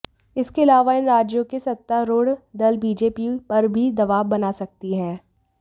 इसके अलावा इन राज्यों के सत्तारूढ़ दल बीजेपी पर भी दवाब बना सकती हैं